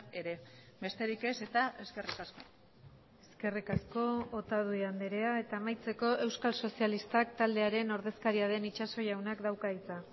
ere besterik ez eta eskerrik asko eskerrik asko otadui andrea eta amaitzeko euskal sozialistak taldearen ordezkaria den itxaso jaunak dauka hitza